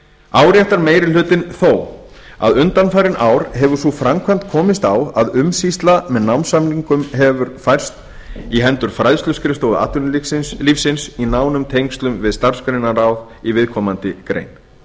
áréttar meiri hlutinn þó að undanfarin ár hefur sú framkvæmd komist á að umsýsla með námssamningum hefur færst í hendur fræðsluskrifstofu atvinnulífsins í nánum tengslum við starfsgreinaráð í viðkomandi grein